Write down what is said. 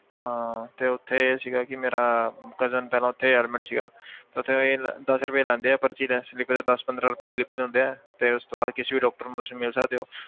ਹਾਂ ਤੇ ਉੱਥੇ ਇਹ ਸੀਗਾ ਕਿ ਮੇਰਾ cousin ਚੱਲ ਉੱਥੇ admit ਸੀਗਾ ਤਾਂ ਉੱਥੇ ਇਹ ਦਸ ਰੁਪਏ ਲੈਂਦੇ ਹੈ ਪਰਚੀ test ਲਈ ਫਿਰ ਦਸ ਪੰਦਰਾਂ ਰੁਪਏ slip ਦਿੰਦੇ ਹੈ ਤੇ ਉਸ ਤੋਂ ਬਾਅਦ ਕਿਸੇ ਵੀ doctor ਨੂੰ ਤੁਸੀਂ ਮਿਲ ਸਕਦੇ ਹੋ।